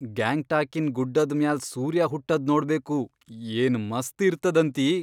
ಗ್ಯಾಂಗ್ಟಾಕಿನ್ ಗುಡ್ಡದ್ ಮ್ಯಾಲ್ ಸೂರ್ಯ ಹುಟ್ಟದ್ ನೋಡ್ಬೇಕು, ಏನ್ ಮಸ್ತ್ ಇರ್ತದಂತಿ.